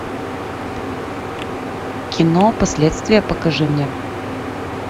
кино последствия покажи мне